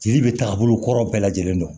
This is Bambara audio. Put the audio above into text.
Jeli bɛ taabolo kɔrɔw bɛɛ lajɛlen dɔn